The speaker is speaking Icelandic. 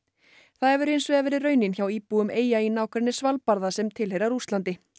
það hefur hinsvegar verið raunin hjá íbúum eyja í nágrenni Svalbarða sem tilheyra Rússlandi